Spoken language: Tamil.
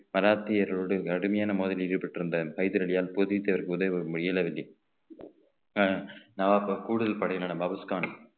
பராத்தியர்களோடு கடுமையான மோதலில் ஈடுபட்டிருந்த ஹைதர் அலியால் போதித்ததற்கு உதவ இயலவில்லைஆனா நவாப் கூடுதல் படையினரானபாபுஸ்கான்